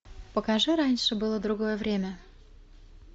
покажи раньше было другое время